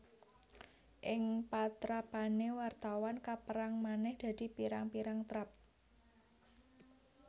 Ing patrapané wartawan kapérang manèh dadi pirang pirang trap